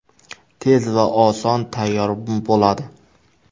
Tez va oson tayyor bo‘ladi.